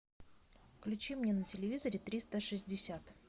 включи мне на телевизоре триста шестьдесят